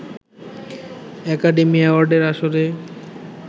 academy অ্যাওয়ার্ডের আসরে